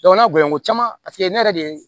n'a gɔɲɔn ko caman paseke ne yɛrɛ de ye